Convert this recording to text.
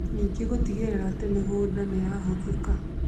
ningĩ gũtigĩrĩra atĩ mĩgũnda nĩ yatũmĩka